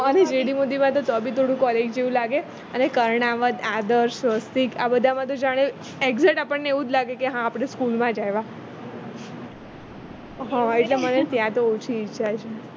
GD મોદીમાં તો બી થોડું college જેવું લાગે અને કર્ણાવત આદર્શ સ્વસ્તિક આ બધી માં તો જાણે ecjet આપણને એવું જ લાગે કે હા આપણે school માં જ આવ્યા હા એટલે મને ત્યાં તો ઓછી ઈચ્છા છે